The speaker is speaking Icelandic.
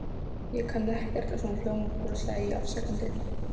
Ég kann ekkert á svona hljómborð sagði ég afsakandi.